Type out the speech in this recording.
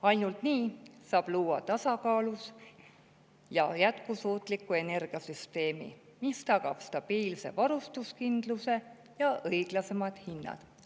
Ainult nii saab luua tasakaalus ja jätkusuutliku energiasüsteemi, mis tagab stabiilse varustuskindluse ja õiglasemad hinnad.